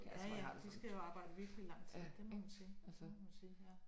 Ja ja de skal jo arbejde virkelig lang tid det må man sige det må man sige ja